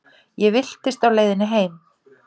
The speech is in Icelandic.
Ég villtist á leiðinni heim.